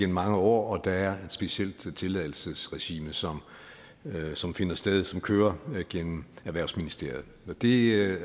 mange år og der er et specielt tilladelsesregime som som finder sted og som kører gennem erhvervsministeriet og det er